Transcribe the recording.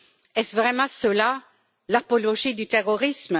Est ce vraiment cela l'apologie du terrorisme?